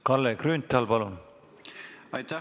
Kalle Grünthal, palun!